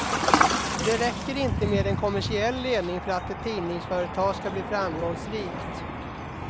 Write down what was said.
Det räcker inte med en kommersiell ledning för att ett tidningsföretag ska bli framgångsrikt.